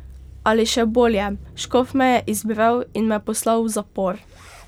Ali še bolje, škof me je izbral in me poslal v zapor.